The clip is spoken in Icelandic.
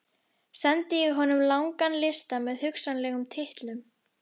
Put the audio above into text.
Sendi ég honum langan lista með hugsanlegum titlum.